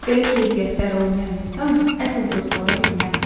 Belə keyfiyyətləri olmayan insan əsl dost ola bilməz.